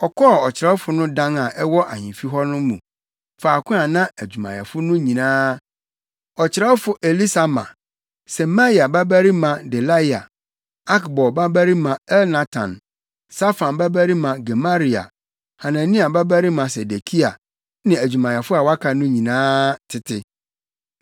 ɔkɔɔ ɔkyerɛwfo no dan a ɛwɔ ahemfi hɔ no mu, faako a na adwumayɛfo no nyinaa: ɔkyerɛwfo Elisama, Semaia babarima Delaia, Akbor babarima Elnatan, Safan babarima Gemaria, Hanania babarima Sedekia ne adwumayɛfo a wɔaka no nyinaa tete.